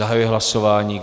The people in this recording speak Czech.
Zahajuji hlasování.